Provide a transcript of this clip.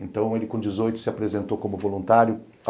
Então ele com dezoito se apresentou como voluntário.